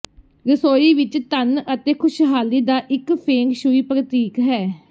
ਰਸੋਈ ਵੀ ਧਨ ਅਤੇ ਖੁਸ਼ਹਾਲੀ ਦਾ ਇੱਕ ਫੇਂਗ ਸ਼ੂਈ ਪ੍ਰਤੀਕ ਹੈ